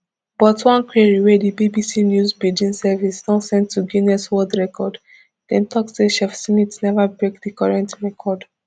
but one query wia di bbc news pidgin service don send to guinness world record dem tok say chef smith neva break di current record